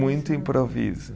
Muito improviso.